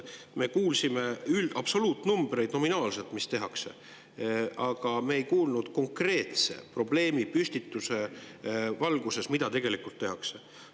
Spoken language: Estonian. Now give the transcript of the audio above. Me kuulsime absoluutnumbreid, mis nominaalselt tehakse, aga me ei kuulnud konkreetse probleemipüstituse valguses, mida tegelikult tehakse.